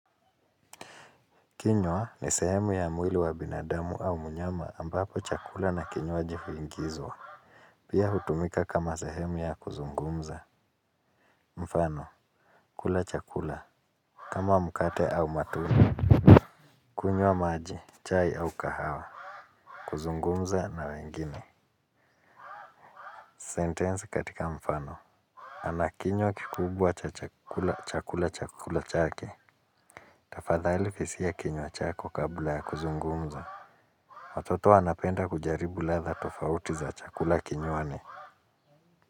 Kinywa ni sehemu ya mwili wa binadamu au mnyama ambapo chakula na kinywaji huingizwa. Pia hutumika kama sehemu ya kuzungumza. Mfano, kula chakula kama mkate au matunda. Kunywa maji. Chai au kahawa. Kuzungumza na wengine. Sentensi katika mfano ana kinywa kikubwa cha chakula chakula chakula chake. Tafadhali kisia kinywa chako kabla ya kuzungumza. Watoto wanapenda kujaribu ladha tofauti za chakula kinywani.